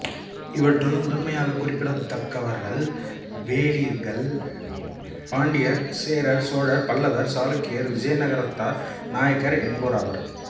இவற்றுள் முதன்மையாகக் குறிப்பிடத்தக்கவர்கள்வேளிர்கள் பாண்டியர் சேரர் சோழர் பல்லவர் சாளுக்கியர் விஜய நகரத்தார் நாயக்கர் என்போராவர்